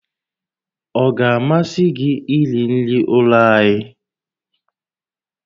Ọ ga-amasị gị iri nri ụlọ anyị?